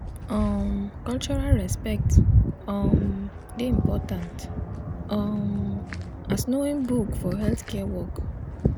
um cultural respect um dey important um as knowing book for healthcare work